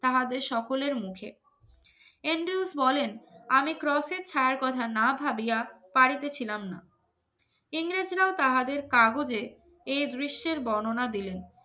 তাহাদের সকলের মুখে এন ডিউস বলেন আমি ছায়ার কথা না ভাবিয়া পারিতেছিলাম না ইংরেজরাও তাহাদের কাগজে এই দৃশ্যের বর্ণনা দিলেন